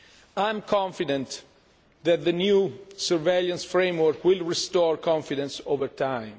I am confident that the new surveillance framework will restore confidence over time.